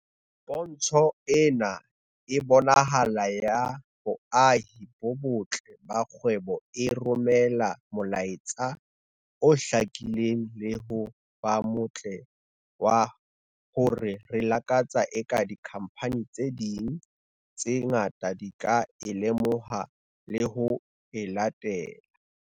"Pontsho ena e bonahalang ya boahi bo botle ba kgwebo e romela molaetsa o hlakileng le ho ba motle wa hore re lakatsa eka dikhamphani tse ding tse ngata di ka o lemoha le ho o latela."